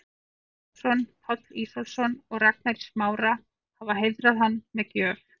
Björn Ólafsson, Páll Ísólfsson og Ragnar í Smára, hafa heiðrað hann með gjöf.